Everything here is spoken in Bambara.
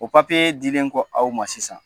O papiye dilen kɔ aw ma sisan